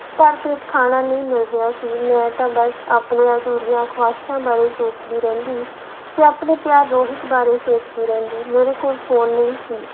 ਭਰ ਪੇਟ ਖਾਣਾ ਨਹੀਂ ਮਿਲ ਰਿਹਾ ਸੀ ਮੈਂ ਤਾਂ ਬਸ ਆਪਣੀਆਂ ਅਧੂਰੀਆਂ ਖੁਹਾਇਸਾਂ ਬਾਰੇ ਸੋਚਦੀ ਰਹਿੰਦੀ ਤੇ ਆਪਣੇ ਪਿਆਰ ਰੋਹਿਤ ਬਾਰੇ ਸੋਚਦੀ ਰਹਿੰਦੀ, ਮੇਰੇ ਕੋਲ ਫ਼ੋਨ ਨਹੀਂ ਸੀ,